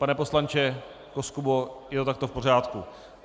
Pane poslanče Koskubo, je to takto v pořádku?